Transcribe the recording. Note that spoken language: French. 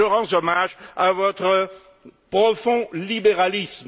Je rends hommage à votre profond libéralisme.